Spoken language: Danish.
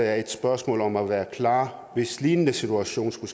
er et spørgsmål om at være klar hvis lignende situationer skulle